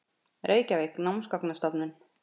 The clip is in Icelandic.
Reykjavík: Námsgagnastofnun.